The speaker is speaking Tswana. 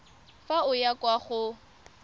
fa o ya kwa go